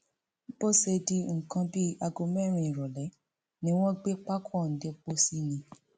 bó ṣe di nǹkan bíi aago mẹrin ìrọlẹ ni wọn gbé pákó ọhún dé pósí ni